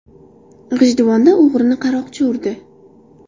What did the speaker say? G‘ijduvonda o‘g‘rini qaroqchi urdi.